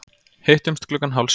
Hittumst klukkan hálf sjö.